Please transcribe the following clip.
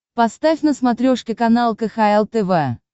поставь на смотрешке канал кхл тв